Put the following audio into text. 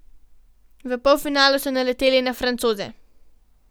V polfinalu so naleteli na Francoze.